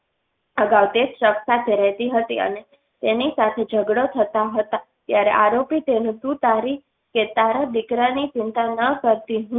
અગાઉ તેજ શખ્સ સાથે રહતી હતી અને તેની સાથે ઝગડો થતાં હતા ત્યારે આરોપી તેનું તું તારી કે તારા દીકરાની ચિંતા ના કરતી હું